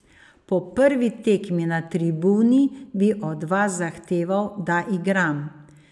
Po prvi tekmi na tribuni bi od vas zahteval, da igram.